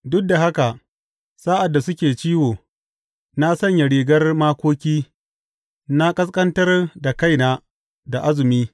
Duk da haka sa’ad da suke ciwo, na sanya rigar makoki na ƙasƙantar da kaina da azumi.